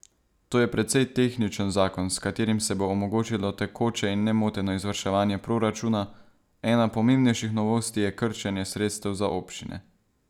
To je precej tehničen zakon, s katerim se bo omogočilo tekoče in nemoteno izvrševanje proračuna, ena pomembnejših novosti je krčenje sredstev za občine.